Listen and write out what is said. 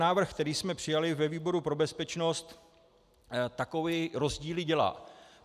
Návrh, který jsme přijali ve výboru pro bezpečnost, takové rozdíly dělá.